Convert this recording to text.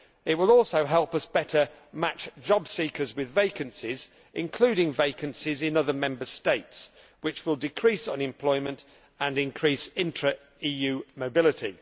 It will also help us better match job seekers with vacancies, including vacancies in other Member States, which will decrease unemployment and increase intra EU mobility.